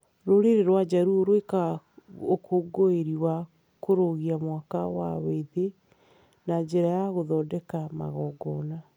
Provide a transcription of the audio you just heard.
Rũrĩrĩ rwa Jaruo rwĩkaga ũkũngũĩri wa kũrũgia mwaka wa wĩthĩ na njĩra ya gũthondeka magongona.